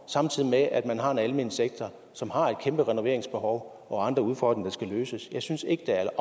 samtidig med at man har en almen sektor som har et kæmpe renoveringsbehov og andre udfordringer der skal løses jeg synes ikke